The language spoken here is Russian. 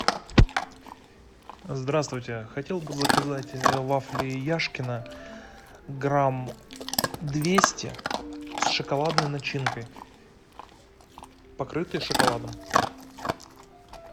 здравствуйте хотел бы заказать вафли яшкино грамм двести с шоколадной начинкой покрытые шоколадом